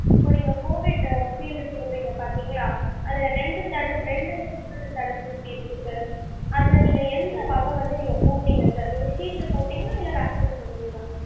இப்போ நீங்க COVID shield போடுறீங்க பாத்திங்களா, அதுல ரெண்டு தடுப் ரெண்டு விதமான தடுப்பூசி இருக்கு sir அதுல நீங்க எந்த வகை வந்து நீங்க போட்டிங்க sir shield போட்டிங்களா இல்ல vaccine போட்டிங்களா?